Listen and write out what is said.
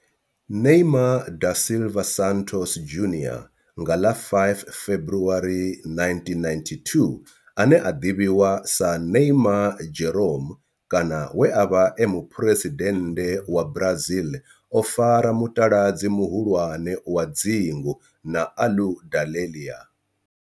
Neymar da Silva Santos Junior nga ḽa 5 February 1992, ane a ḓivhiwa sa Neymar Jeromme kana we a vha e muphuresidennde wa Brazil o fara mutaladzi muhulwane wa dzingu na Aludalelia.